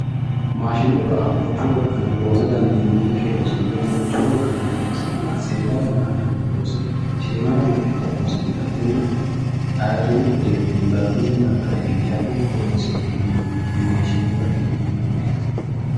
maashinubba manchu wolqanni loosa dandiinannikki loosonna manchu wolqanni loonsanna seeda yanna adhanno shiima yanna giddo loose gudatenna ayiirrino uduunne dargunni darga iillishate horonsi'nannita maashinubbate yinanni